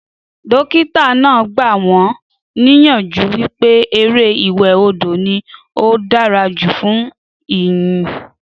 Dókítà náà gba wọn níyànjú wípé eré ìwẹ̀ odò ní ó dára jù fún èèyàn